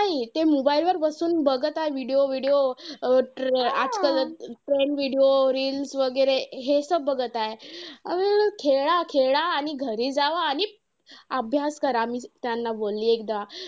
नाही ते mobile वर बसून बघत आहे video, video आजकाल trend video reels वगैरे हे बघत आहे. अं खेळा खेळा घरी जावा आणि अभ्यास करा. मी त्यांना बोलली एकदा.